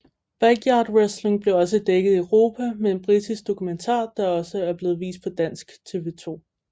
Backyard Wrestling blev også dækket i Europa med en britisk dokumentar der også er blevet vist på dansk TV 2